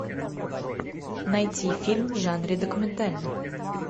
найти фильм в жанре документальный